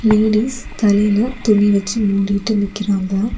Ladies தலைல துணி வெச்சு மூடிட்டு நிக்கிறாங்க.